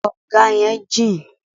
Kọ̀nga yẹn jìn.